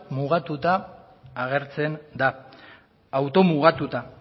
mugatuta agertzen da automugatuta